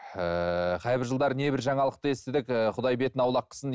ііі қайбір жылдары небір жаңалықты естідік ііі құдай бетін аулақ қылсын